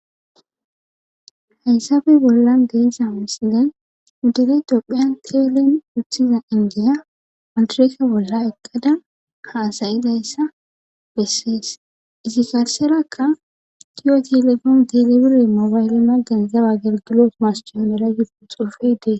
Hayssabe bollan de'iza misilen nu dere tophiyan teelen uthiza indiya madireka bolla eqqada haasayidayssa bessees izi garserakka tiyo telefoon telebire moobayle maggan zaba gergilo mascoomera yudu xuufe dees.